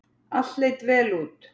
Allt leit vel út.